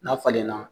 N'a falenna